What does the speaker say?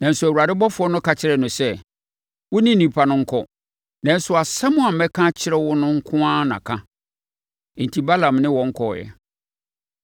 Nanso, Awurade ɔbɔfoɔ no ka kyerɛɛ no sɛ, “Wo ne nnipa no nkɔ, nanso asɛm a mɛka akyerɛ wo no nko na ka.” Enti Balaam ne wɔn kɔeɛ.